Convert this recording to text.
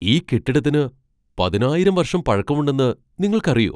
ഈ കെട്ടിടത്തിന് പതിനായിരം വർഷം പഴക്കമുണ്ടെന്ന് നിങ്ങൾക്കറിയോ ?